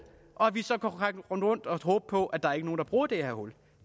og vi kan så rende rundt og håbe på at der ikke er nogen der bruger det her hul